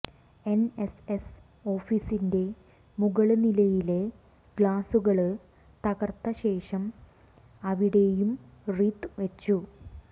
എന്എസ്എസ് ഓഫീസിന്റെ മുകള് നിലയിലെ ഗ്ലാസുകള് തകര്ത്തശേഷം അവിടെയും റീത്ത് വച്ചു